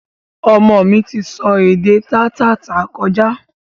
Ọmọ mi ti sọ èdè taa tá tà kọjá